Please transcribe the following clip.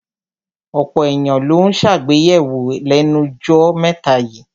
Ọ̀pọ̀ èyàn ló ń ṣègbéyàwó lẹ́nu jọ́ mẹ́ta yíì.